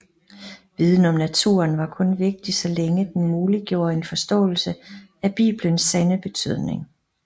Viden om naturen var kun vigtig så længe den muliggjorde en forståelse af bibelens sande betydning